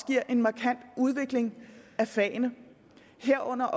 giver en markant udvikling af fagene herunder